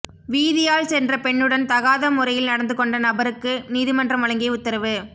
வீதியால் சென்ற பெண்ணுடன் தகாத முறையில் நடந்துகொண்ட நபருக்கு நீதிமன்றம் வழங்கிய உத்தரவு